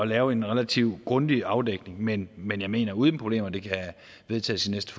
lave en relativt grundig afdækning men men jeg mener uden problemer kan vedtages i næste